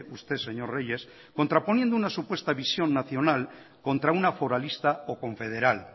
usted señor reyes contraponiendo una supuesta visión nacional contra una foralista o confederal